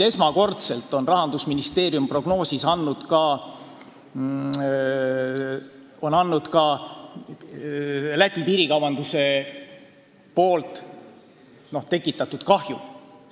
Esmakordselt on Rahandusministeerium oma prognoosis esitanud ka Eesti-Läti piirikaubanduse tekitatud kahju.